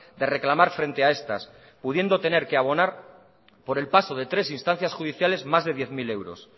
de reclamar frente a estas pudiendo tener que abonar por el paso de tres instancias judiciales más de diez mil euros